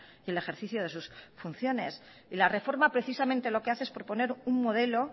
y el ejercicio de sus funciones y la reforma precisamente lo que hace es proponer un modelo